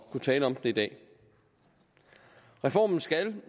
kunne tale om den i dag reformen skal